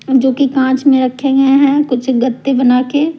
जोकि काँच में रखे गए हैं कुछ गत्ते बना के --